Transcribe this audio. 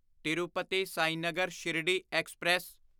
Tirupati Sainagar Shirdi express